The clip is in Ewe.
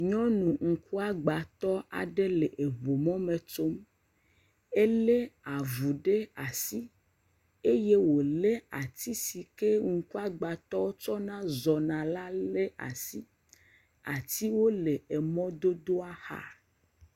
Nyɔnu ŋkuagbatɔ aɖe le ŋumɔ me tsom, ele avu ɖe asi eye wolé ati si ke ŋkuagbatɔwo tsɔna zɔna la le asi, atiwo le emɔdodoa xa.